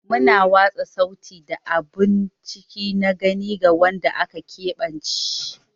Muna watsa sauti da abun ciki na gani ga wanda aka keɓance.